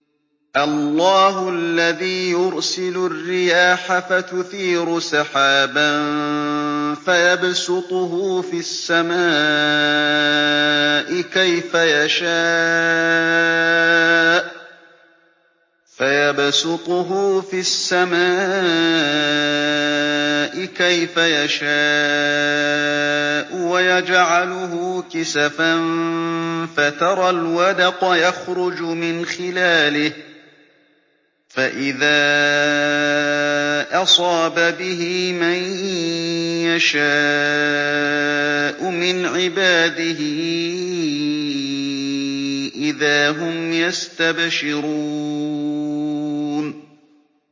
اللَّهُ الَّذِي يُرْسِلُ الرِّيَاحَ فَتُثِيرُ سَحَابًا فَيَبْسُطُهُ فِي السَّمَاءِ كَيْفَ يَشَاءُ وَيَجْعَلُهُ كِسَفًا فَتَرَى الْوَدْقَ يَخْرُجُ مِنْ خِلَالِهِ ۖ فَإِذَا أَصَابَ بِهِ مَن يَشَاءُ مِنْ عِبَادِهِ إِذَا هُمْ يَسْتَبْشِرُونَ